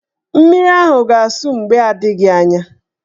Mmiri ahụ ga-asụ mgbe adịghị anya.